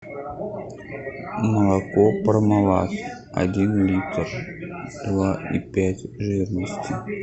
молоко пармалат один литр два и пять жирности